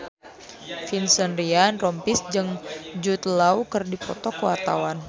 Vincent Ryan Rompies jeung Jude Law keur dipoto ku wartawan